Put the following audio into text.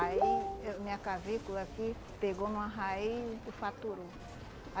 Aí ah minha clavícula aqui pegou numa raiz e fraturou.